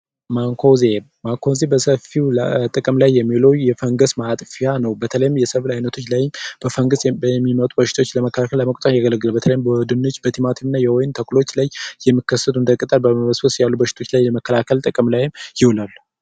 ማንኮዚየም ጥቅም ላይ የሚውል የፈንገስ ማጥፊያ ነው። በተለይም በሰብል አይነቶች ላይ በፈንገስ የሚመጡ በሽታዎችን ለመቆጣጠር ያገለግላል በተለይም በድንች ቲማቲምና የወይን ተክሎች ላይ የሚከሰቱትን እንደ ቅጠል ያሉ በሽታዎች ለመከላከል ጥቅም ላይም ይውላል።